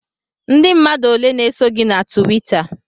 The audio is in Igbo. Ndị mmadụ ole na-eso gị na Tuwita?